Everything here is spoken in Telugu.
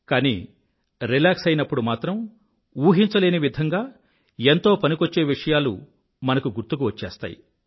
కానీ రిలాక్స్ అయినప్పుడు మాత్రం ఊహించలేని విధంగా ఎంతో పనికొచ్చే విషయాలు మనకు గుర్తుకు వచ్చేస్తాయి